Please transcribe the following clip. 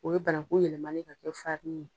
O ye bananko yɛlɛmalen ye ka kɛ ye